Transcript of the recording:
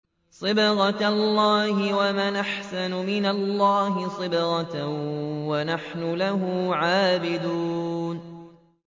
صِبْغَةَ اللَّهِ ۖ وَمَنْ أَحْسَنُ مِنَ اللَّهِ صِبْغَةً ۖ وَنَحْنُ لَهُ عَابِدُونَ